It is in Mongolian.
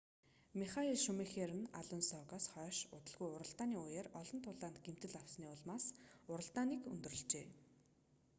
михаэль шумахер нь алонсогоос хойш удалгүй уралдааны үеэр олон тулаанд гэмтэл авсны улмаас уралдааныг өндөрлөжээ